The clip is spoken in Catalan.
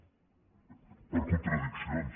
per contradiccions